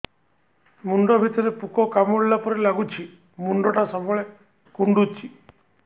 ମୁଣ୍ଡ ଭିତରେ ପୁକ କାମୁଡ଼ିଲା ପରି ଲାଗୁଛି ମୁଣ୍ଡ ଟା ସବୁବେଳେ କୁଣ୍ଡୁଚି